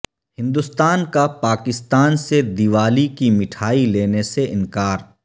ہندوستان کا پاکستان سے دیوالی کی مٹھائی لینے سے انکار